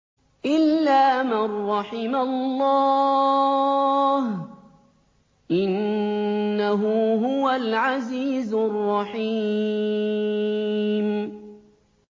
إِلَّا مَن رَّحِمَ اللَّهُ ۚ إِنَّهُ هُوَ الْعَزِيزُ الرَّحِيمُ